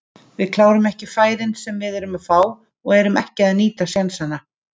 Við klárum ekki færin sem við erum að fá og erum ekki að nýta sénsana.